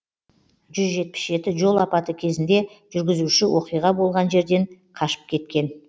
жүз жетпіс жеті жол апаты кезінде жүргізуші оқиға болған жерден қашып кеткен